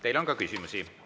Teile on ka küsimusi.